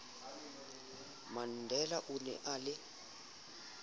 mandela o ne a le